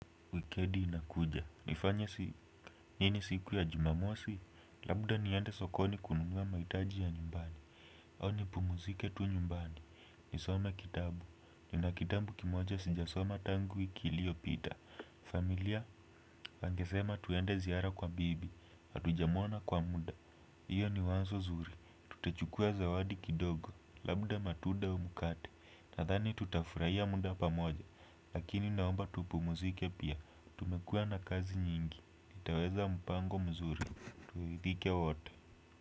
Wikendi inakuja, nifanya si, nini siku ya Jumamosi? Labda niende sokoni kununua mahitaji ya nyumbani, au ni pumzike tu nyumbani, nisome kitabu, nina kitabu kimoja sijasoma tangu wiki iliyopita, familia, wanasema tuende ziara kwa bibi, hatujamuona kwa muda, hiyo ni wazo zuri, tutachukuwa zawadi kidogo, labda matunda au mkati, nadhani tutafurahia muda pamoja, lakini naomba tupumuzike pia, tumekuwa na kazi nyingi. Itaweza mpango mzuri, turidhikia wote.